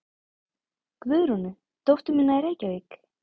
Guðrúnu, dóttur mína í Reykjavík?